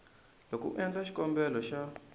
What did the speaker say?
loko u endla xikombelo xa